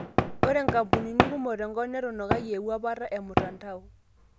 Ore nkapunini kumok tenkop netunukayie ewuapata e mutandao.